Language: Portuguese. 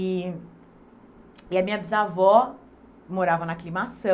E e a minha bisavó morava na Aclimação.